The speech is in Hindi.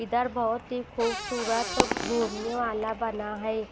इधर बहुत ही खूबसूरत घूमने वाला बना है।